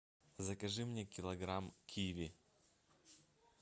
закажи мне килограмм киви